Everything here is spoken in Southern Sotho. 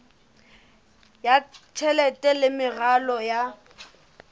ya tjhelete le meralo ya